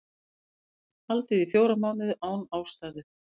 Haldið í fjóra mánuði án ástæðu